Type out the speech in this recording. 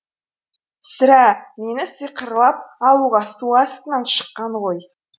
сірә мені сиқырлап алуға су астынан шыққан ғой